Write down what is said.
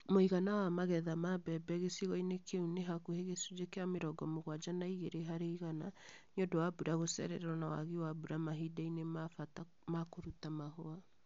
Mũigana wa magetha ma mbembe gĩcigo-inĩ kĩu nĩ hakuhĩ gĩcunjĩ kĩa mĩrongo mũgwanja na igĩrĩ harĩ igana nĩũndũ wa mbura gũcererwo na wagi wa mbura Mahinda-inĩ ma bata ma kũruta mahũa